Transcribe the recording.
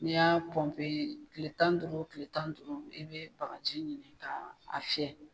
N'i y'a tile tan ni duuru tile tan ni duuru i be bagaji ɲini ka a fiyɛ.